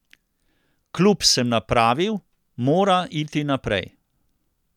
Klub sem napravil, mora iti naprej.